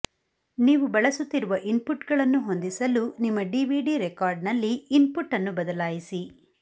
ನೀವು ಬಳಸುತ್ತಿರುವ ಇನ್ಪುಟ್ಗಳನ್ನು ಹೊಂದಿಸಲು ನಿಮ್ಮ ಡಿವಿಡಿ ರೆಕಾರ್ಡರ್ನಲ್ಲಿ ಇನ್ಪುಟ್ ಅನ್ನು ಬದಲಾಯಿಸಿ